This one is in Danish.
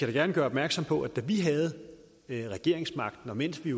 da gerne gøre opmærksom på at da vi havde regeringsmagten og mens vi